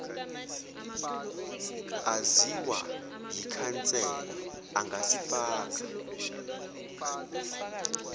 aziwa yikhansela angasifaka